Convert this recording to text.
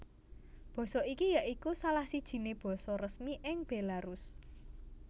Basa iki ya iku salah sijiné basa resmi ing Bélarus